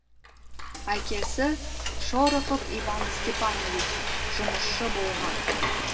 әкесі шорохов иван степанович жұмысшы болған